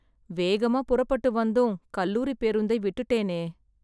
வேகமா புறப்பட்டு வந்தும், கல்லூரி பேருந்தை விட்டுட்டேனே...